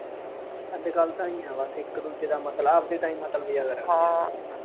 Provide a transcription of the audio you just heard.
ਅੱਜ ਕੱਲ੍ਹ ਤਾਂ ਆਏਂ ਈਂ ਆ ਬੱਸ, ਇੱਕ ਦੂਜੇ ਦਾ ਮਤਲਬ ਆਪਦੇ ਤਾਂਈਂ ਮਤਲਬ ਹੀ ਅਗਰ ਰਹਿੰਦਾ